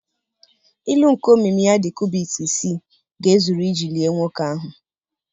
Ilu nke omimi ya dị cubit isii ga-ezuru iji lie nwoke ahụ.